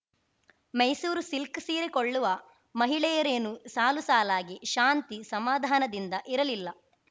Mysuru silk ಸೀರೆ ಕೊಳ್ಳುವ ಮಹಿಳೆಯರೇನೂ ಸಾಲು ಸಾಲಾಗಿ ಶಾಂತಿ ಸಮಾಧಾನದಿಂದ ಇರಲಿಲ್ಲ